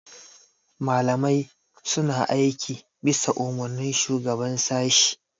malamai suna aiki bisa Umarnin shugaban sashi